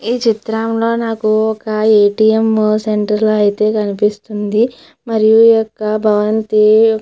ఈ చిత్రంలో నాకు ఒక ఏ _టీ_ఎం సెంటర్ అయితే కనిపిస్తూ ఉంది మరియు ఈ యెక్క భవంతి --